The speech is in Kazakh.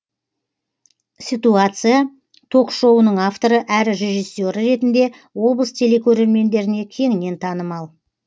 ситуация ток шоуының авторы әрі режиссері ретінде облыс телекөрермендеріне кеңінен танымал